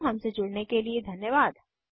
हमसे जुड़ने के लिए धन्यवाद